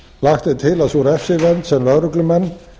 lagt er til að sú refsivernd sem lögreglumenn